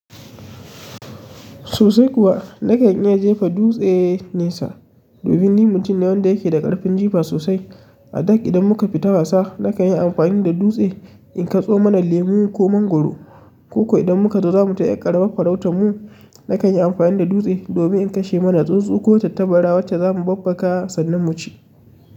Sosai kuwa nakan iya jefa dutse nesa domin ni mutum ne wanda yake da ƙarfin jifa sosai. A da idan muka fita wasa nakan yi amfani da dutse in katso mana lemu ko mangwaro. Ko ko idan muka zo za mu tai ƴar ƙarama farautar mu, nakan yi amfani da dutse domin in kashe mana tsuntsu ko tattabara wacce za mu babbaka sannan mu ci.